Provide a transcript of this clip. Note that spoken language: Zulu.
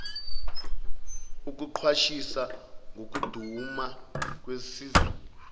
okuqwashisa ngokuduma kwezulu